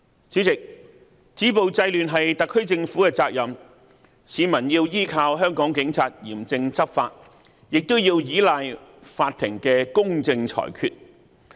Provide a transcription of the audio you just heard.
主席，止暴制亂是特區政府的責任，市民要依靠香港警察嚴正執法，也要依賴法庭的公正裁決。